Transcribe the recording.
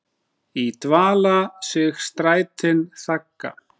í dvala sig strætin þagga.